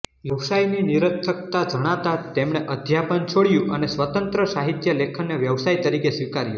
વ્યવસાયની નિરર્થકતા જણાતાં તેમણે અધ્યાપન છોડ્યું અને સ્વતંત્ર સાહિત્યલેખનને વ્યવસાય તરીકે સ્વીકાર્યો